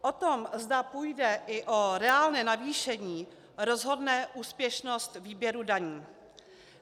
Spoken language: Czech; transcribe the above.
O tom, zda půjde i o reálné navýšení, rozhodne úspěšnost výběru daní.